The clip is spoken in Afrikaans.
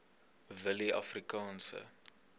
willieafrikaanse